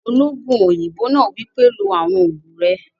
Olóògùn òyìnbó náà wípé, "lo àwọn ògùn rẹ!"